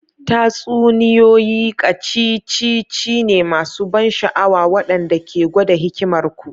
Tatsuniyoyi ƙacicici ne masu ban sha'awa waɗanda ke gwada hikimar ku.